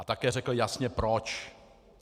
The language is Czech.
A také řekl jasně proč.